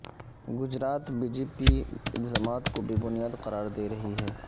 Gujarat B J P الزامات کو بے بنیاد قرار دے رہی ہے